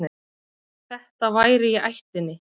Þetta væri í ættinni.